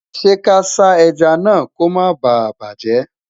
ṣé kà sá ejá nà kò má bá bajẹ?